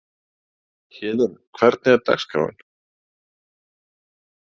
Héðinn, hvernig er dagskráin?